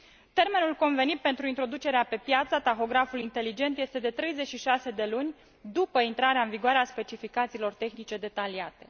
Termenul convenit pentru introducerea pe piață a tahografului inteligent este de 36 de luni după intrarea în vigoare a specificațiilor tehnice detaliate.